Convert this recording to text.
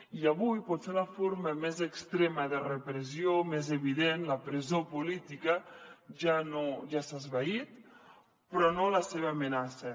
i avui potser la forma més extrema de repressió més evident la presó política ja s’ha esvaït però no la seva amenaça